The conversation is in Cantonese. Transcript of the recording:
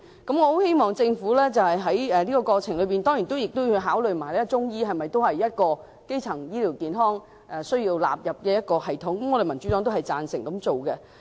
我希望政府在過程中考慮是否將中醫納入基層醫療健康系統，民主黨是贊成這樣做的。